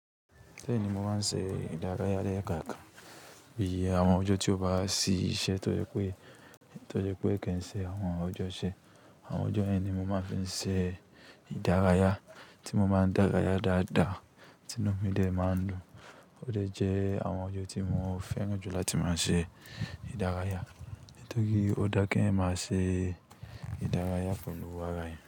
Beeni mo máa ń ṣe ìdárayá lẹ́ẹ̀kankan. Bí i àwọn ọjọ́ tí ó bá sí iṣẹ́ tó jẹ́ pé kii ṣe àwọn ọjọ́ iṣẹ́, àwọn ọjọ́ yẹn ni ni mo máa fi ń ṣe ìdárayá tí mo máa ń dárayá dáadáa, tinú mi dẹ́ máa ń dùn. Ò de jẹ́ àwọn ọjọ́ tí mo fẹ́ràn jù la tí máa ṣe ìdárayá, torí ó dá ki eeyan máa ṣe ìdárayá pẹ̀lú ara eeyan.